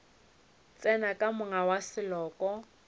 tsena ka monga wa seloko